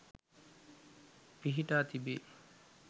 පිහිටා තිබේ.